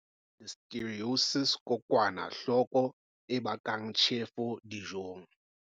Listeriosis Kokwanahloko e bakang tjhefo dijong.